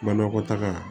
Banakɔtaga